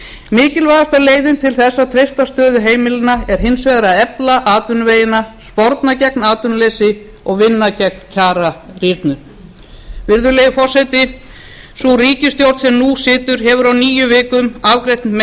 mikilvægasta leiðin til þess að treysta stöðu heimilanna er hins vegar að efla atvinnuvegina sporna gegn atvinnuleysi og vinna gegn kjararýrnun virðulegi forseti sú ríkisstjórn sem nú situr hefur á níu vikum afgreitt